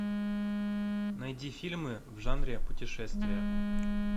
найди фильмы в жанре путешествия